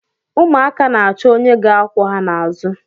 Ụmụaka na-achọ onye ga-akwọ ha n’azụ